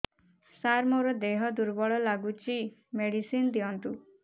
ସାର ମୋର ଦେହ ଦୁର୍ବଳ ଲାଗୁଚି ମେଡିସିନ ଦିଅନ୍ତୁ